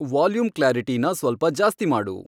volume ಕ್ಲಾರಿಟೀನಾ ಸ್ವಲ್ಪ ಜಾಸ್ತಿ ಮಾಡು